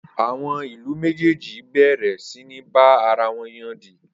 Awọn ìlú méjèèjì béèrè sì ní bá ara wọn yodì